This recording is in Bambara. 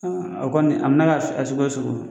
O kɔni a mɛna kɛ a sugu o sugu ye.